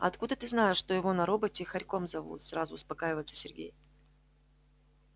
а откуда ты знаешь что его на работе хорьком зовут сразу успокаивается сергей